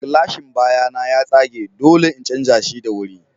Gilashin baya na ya tsage, dole in canza shi da wuri.